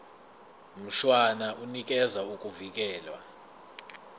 mshwana unikeza ukuvikelwa